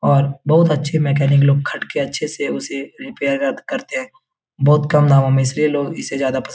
और बहुत अच्छे मैकेनिक लोग खट के अच्छे उसे रिपेयर करते है बहुत कम दामो मे इसलिए लोग इसे ज्यादा पसंद --